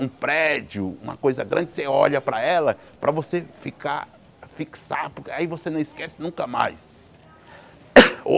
um prédio, uma coisa grande, você olha para ela, para você ficar fixado, aí você não esquece nunca mais. ou